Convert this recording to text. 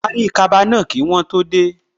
Parí kaba náà kí wọ́n tó dé